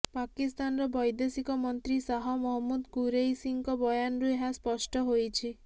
ପାକିସ୍ତାନର ବୈଦେଶିକ ମନ୍ତ୍ରୀ ଶାହ ମହମୂଦ କୁରୈଶୀଙ୍କ ବୟାନରୁ ଏହା ସ୍ପଷ୍ଟ ହୋଇଛି